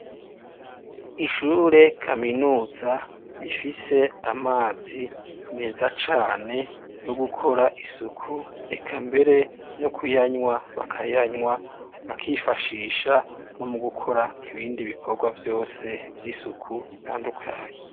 Ishure kaminuza rifise amazi meza cane, yo gukora isuku, reka mbere no kuyanywa bakayanywa, bakifashisha no mu gukora ibindi bikorwa vyose vy'isuku bitandukanye.